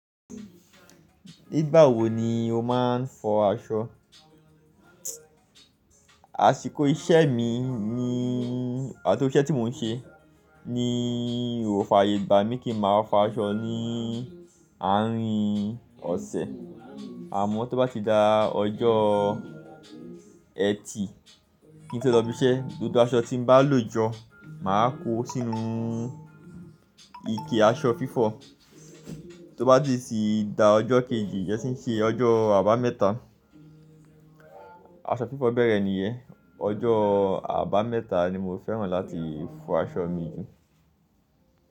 Nígbà wo ni o máa ń fọ aṣọ? Àsìkò iṣẹ́ mi ni àti ọṣẹ tí mò ń ṣe ni ò fàyè gbà mí kí n máa fọ aṣọ ní àárín ọ̀sẹ̀. Àmọ́ tó bá ti da ọjọ́ ẹtì kí n tó lọ ibi iṣẹ́, gbogbo aṣọ tí mo bá lò jọ máa kó sínú ike aṣọ fífọ̀. Tó bá ti sí da ọjọ́ kejì jẹ́ṣí ń ṣe ọjọ́ àbámẹ́ta, aṣọ fífọ̀ bẹ̀rẹ̀ nìyẹn. Ọjọ́ àbámẹ́ta ni mo fẹ́ràn láti fọ aṣọ mi jù.